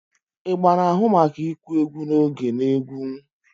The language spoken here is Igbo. Igba na-ahụ maka ịkụ egwu na oge na egwu.